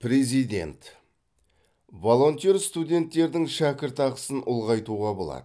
президент волонтер студенттердің шәкіртақысын ұлғайтуға болады